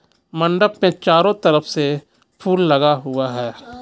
मंडप पे चारो तरफ से फूल लगा हुआ हैं.